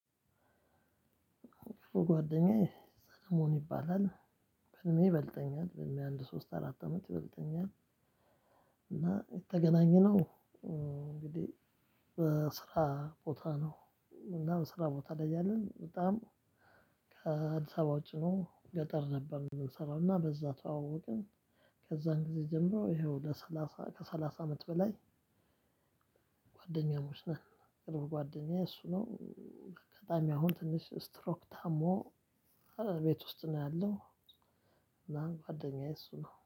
ጓደኛዬ ሰምኦን ይባላል። በእድሜ ይበልጠኛል በእድሜ አንድ ሶስት አራት አመት ይበልጠኛል፤ እና የተገናኘነው እንግዲህ በስራ ቦታ ነው። እና ስራ ቦታ ላይ እያለን በጣም ከአዲስ አበባ ውጪ ነው። ገጠር ነበር ምንሰራው እና በዛ ተዋወቅን። ከዛን ጊዜ ጀምሮ ይኸው ለሰላሳ ከሰላሳ አመት በላይ ጓደኛሞች ነን። ቅርብ ጓደኛዬ እሱ ነው። አጋጣሚ አሁን ትንሽ ስትሮክ ታሞ ቤት ውስጥ ነው ያለው፤ እና ጓደኛዬ እሱ ነው።